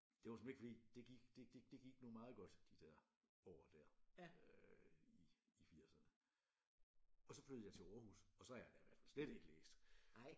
Det var såmænd ikke fordi det gik det det gik nu meget godt de der år der øh i i firserne og så flyttede jeg til Aarhus og så har jeg da i hvert fald slet ikke læst